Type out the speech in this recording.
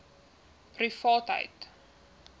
privaatheidu